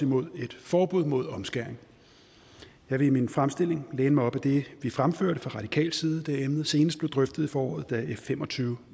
imod et forbud mod omskæring jeg vil i min fremstilling læne mig op ad det vi fremførte fra radikal side da emnet senest blev drøftet i foråret da f fem og tyve